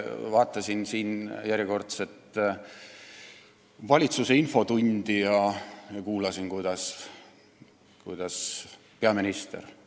Vaatasin järjekordset valitsuse infotundi ja kuulasin, kuidas peaminister räägib.